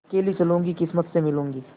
अकेली चलूँगी किस्मत से मिलूँगी